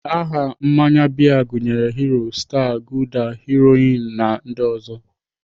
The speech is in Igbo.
Aha mmanya bịa gụnyere Hero, star, gulder, Heroin na ndị ọzọ.